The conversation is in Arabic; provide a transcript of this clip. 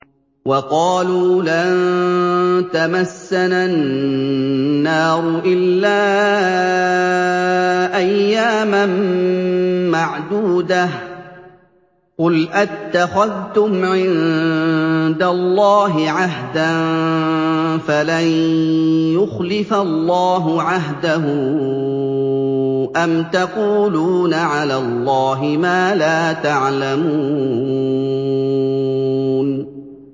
وَقَالُوا لَن تَمَسَّنَا النَّارُ إِلَّا أَيَّامًا مَّعْدُودَةً ۚ قُلْ أَتَّخَذْتُمْ عِندَ اللَّهِ عَهْدًا فَلَن يُخْلِفَ اللَّهُ عَهْدَهُ ۖ أَمْ تَقُولُونَ عَلَى اللَّهِ مَا لَا تَعْلَمُونَ